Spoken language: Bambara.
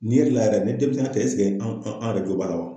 Ni yɛrɛ la yɛrɛ ni denmisɛnnin tɛ an yɛrɛ jo b'a la